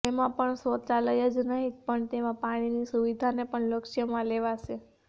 તેમાંપણ શૌચાલય જ નહિ પણ તેમાં પાણીની સુવિધાને પણ લક્ષ્યમાં લેવાશે